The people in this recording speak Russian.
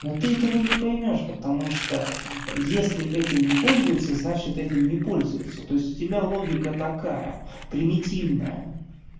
но ты этого не поймёшь потому что если этим не пользуются значит этим не пользуется то есть у тебя логика такая примитивная